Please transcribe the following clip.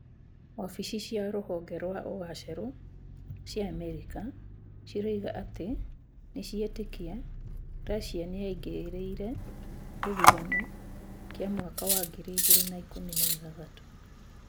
Wabici cia rũhonge rwa ũgacerũ cia Amerika cirauga atĩ nĩciretĩkia Russia nĩyaingĩrĩĩre gĩthurano kĩa mwaka wa ngiri igĩrĩ na ikũmi na ithathatũ